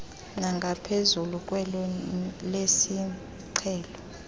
nangaphezulu kwelo lesiqhelo